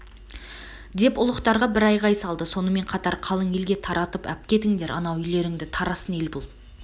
деп ұлықтарға бір айғай салды сонымен қатар қалың елге таратып апкетіңдер анау үйлеріңді тарасын ел бұл